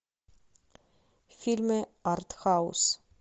фильмы артхаус